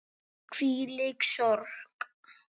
Hvílík sorg.